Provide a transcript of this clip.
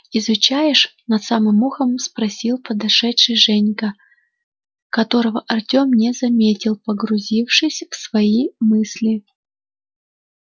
изучаешь над самым ухом спросил подошедший женька которого артём не заметил погрузившись в свои мысли